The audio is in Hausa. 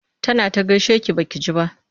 Tana ta gaishe ki ba ki ji ba.